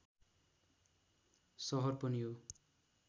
सहर पनि हो